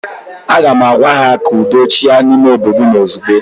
Aga m agwa ha, ka udo chịa n'ime obodo ụnụ ozigbo!